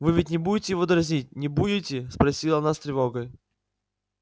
вы ведь не будете его дразнить не будете спросила она с тревогой